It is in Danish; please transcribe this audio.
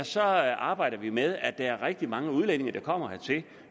så arbejder vi med at der er rigtig mange udlændinge der kommer hertil